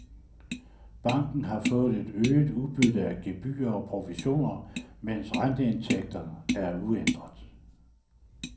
Banken har fået et øget udbytte af gebyrer og provisioner, mens renteindtægterne er uændret.